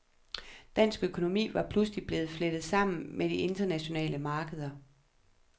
Dansk økonomi var pludselig blevet flettet sammen med de internationale markeder.